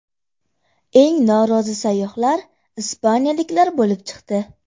Eng norozi sayyohlar ispaniyaliklar bo‘lib chiqdi.